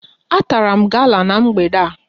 A tara m gala n'mgbede a